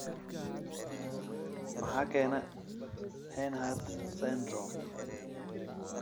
Maxaa keena Hanhart syndrome syndrome?